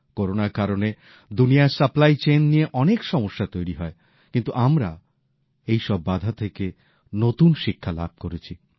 করোনার কারণে দুনিয়ায় সরবরাহ শৃঙ্খল নিয়ে অনেক সমস্যা তৈরি হয় কিন্তু আমরা এই সব বাধা থেকে নতুন শিক্ষা লাভ করেছি